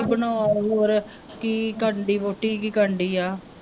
ਕੀ ਬਣਾ ਰਹੀ ਹੌਰ, ਕੀ ਕਰਨ ਡੇਈ ਵਹੁਟੀ ਕੀ ਕਰਨ ਡੇਈ ਆ